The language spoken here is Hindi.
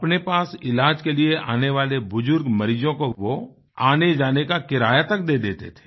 अपने पास इलाज के लिए आने वाले बुजुर्ग मरीजों कोवोआनेजाने का किराया तक दे देते थे